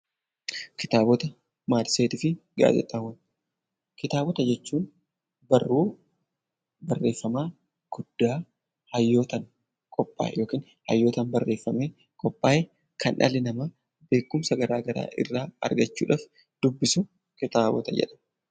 Kitaabota, matseetii fi gaazexaawwan Kitaabota jechuun barruu barreeffama guddaa hayyootaan qophaa'e yookiin hayyotaan barreffamee qophaa'e, kan dhalli namaa beekumsa gara garaa irraa argachuu dhaaf dubbisu kitaabota jedhama.